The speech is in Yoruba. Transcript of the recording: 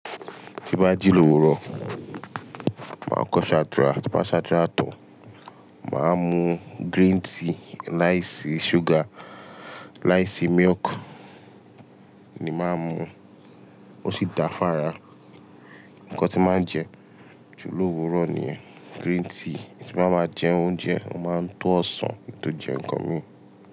Tí bá jí lówuró, máa kọ́ ṣadúrà, ti bá ṣadúrà tán, màá mú green tea láìsí sugar, láìsí milk ni màá mú, ó sì da fára. Ǹkan tí màá jẹ, julowóró niyen, green tea. Tí bá máa jẹ oúnjẹ, mo máa ń to ọsàn kí n tó jẹ nǹkan mi.